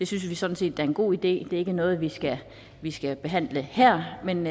synes vi sådan set er en god idé det er ikke noget vi vi skal behandle her men